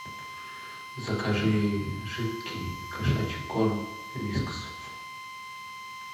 закажи жидкий кошачий корм вискас